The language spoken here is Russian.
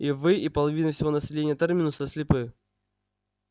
и вы и половина всего населения терминуса слепы